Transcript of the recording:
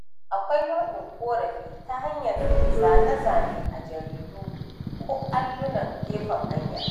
Akwai nai'in ƙorafi ta hanyar yin zane-zane a jaridu ko allunan gefen hanya.